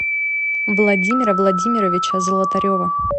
владимира владимировича золотарева